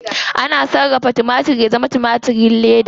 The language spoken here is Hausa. Ana sarrafa timatir ya zama timatirin leda.